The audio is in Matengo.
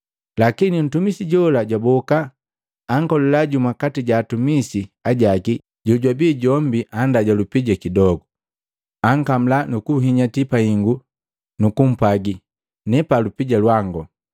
“Lakini ntumisi jola jwaboka, ankolila jumu kati jaatumisi ajaki jojwabi jombi anndaja lupija kidogu. Ankamula nukunhinyati pahingu, nukumpwagi, ‘Nepa lupija lwango.’